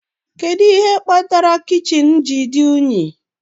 Kedu ihe kpatara kichin ji dị unyi?